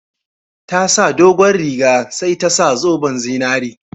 Ta saka dogon riga sai ta sa zoben zinari